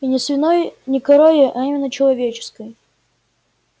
и не свиной не коровьей а именно человеческой